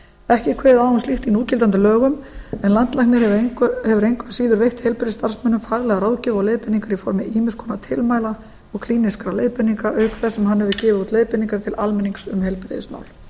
ekki er kveðið á um slíkt í núgildandi lögum en landlæknir hefur engu að síður veitt heilbrigðisstarfsmönnum faglega ráðgjöf og leiðbeiningar í formi ýmiss konar tilmæla og klínískra leiðbeininga auk þess sem hann hefur gefið út leiðbeiningar til almennings um heilbrigðismál